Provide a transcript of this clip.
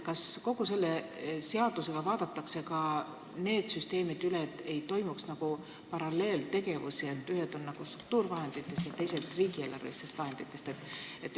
Kas selle seaduseelnõuga vaadatakse ka need süsteemid üle, et paralleelselt ei rahastataks ühtesid tegevusi struktuurivahenditest ja teisi riigieelarvelistest vahenditest?